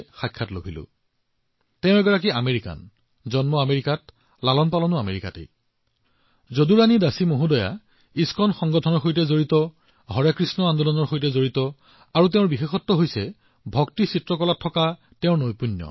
তেওঁ আমেৰিকাত জন্মগ্ৰহণ কৰা আমেৰিকান আমেৰিকাত ডাঙৰ দীঘল হোৱা যদুৰাণী দাসী জী ইস্কনৰ সৈতে সম্পৰ্কিত হৰে কৃষ্ণ আন্দোলনৰ সৈতে সম্পৰ্কিত আৰু তেওঁৰ এক মহান বিশেষত্ব আছে আৰু সেয়া হল তেওঁ ভক্তি কলাত নিপুণ